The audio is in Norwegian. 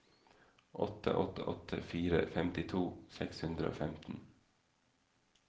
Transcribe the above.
åtte åtte åtte fire femtito seks hundre og femten